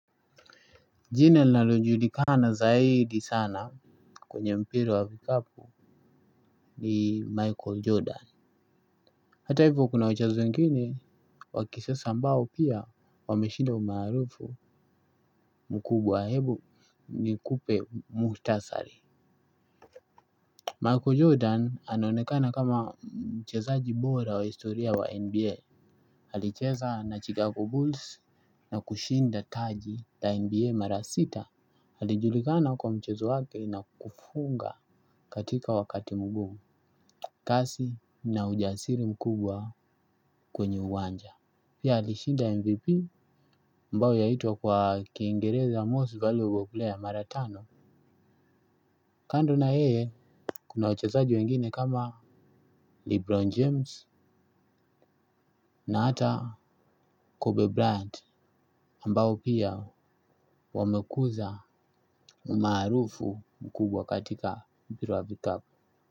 Jina linalojulikana zaidi sana kwenye mpira wa vikapu ni michael jordan hata hivyo kuna wacheza ingine wa kisasa ambao pia wameshinda umaarufu mkubwa hebu nikupe muhtasari michael jordan anaonekana kama mchezaji bora wa historia wa nba. Alicheza na Chicago Bulls na kushinda taji la NBA mara sita alijulikana kwa mchezo wake na kufunga katika wakati mgumu. Kasi na ujasiri mkubwa kwenye uwanja. Pia alishinda MVP ambao yaitwa kwa kiingereza most valuable player mara tano. Kando na yeye kuna wachezaji wengine kama Lebron James na hata Kobe Bryant Ambao pia wamekuza umaarufu mkubwa katika mpira wa vikapu.